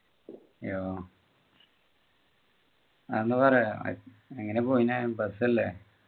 യോ അതൊന്നു പറയുമോ എങ്ങനെയാ പോയിനു അഹ് bus അല്ലെ